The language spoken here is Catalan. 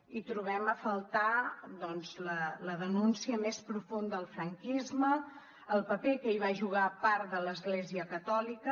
hi trobem a faltar doncs la denúncia més profunda del franquisme el paper que hi va jugar part de l’església catòlica